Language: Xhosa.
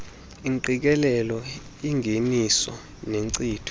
engqikelelo engeniso nenkcitho